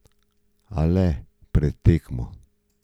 A le pred tekmo.